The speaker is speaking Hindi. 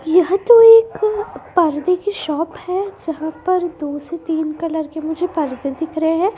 यह तो एक पर्दे की शॉप है जहां पर दो से तीन कलर के मुझे पर्दे दिख रहे हैं।